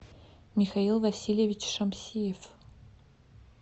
михаил васильевич шамсиев